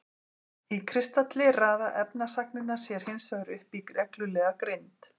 Í kristalli raða efnisagnirnar sér hinsvegar upp í reglulega grind.